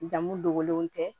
Jamu dogolenw tɛ